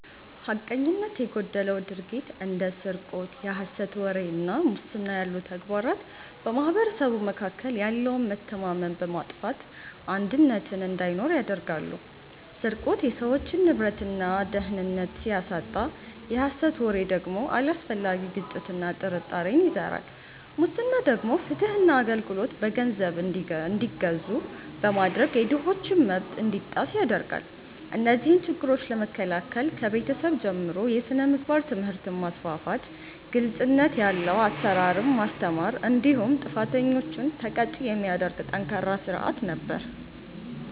ሐቀኝነት የጎደለው ድርጊት እንደ ስርቆት፣ የሐሰት ወሬ እና ሙስና ያሉ ተግባራት በማኅበረሰቡ መካከል ያለውን መተማመን በማጥፋት አንድነትን እንዳይኖር ያደርጋሉ። ስርቆት የሰዎችን ንብረትና ደህንነት ሲያሳጣ፣ የሐሰት ወሬ ደግሞ አላስፈላጊ ግጭትና ጥርጣሬን ይዘራል። ሙስና ደግሞ ፍትህና አገልግሎት በገንዘብ እንዲገዙ በማድረግ የድሆችን መብት እንዲጣስ ያደርጋል። እነዚህን ችግሮች ለመከላከል ከቤተሰብ ጀምሮ የሥነ ምግባር ትምህርትን ማስፋፋት፤ ግልጽነት ያለው አሰራርን ማስተማር እንዲሁም ጥፋተኞችን ተቀጪ የሚያደርግ ጠንካራ ሥርዓት ነበር።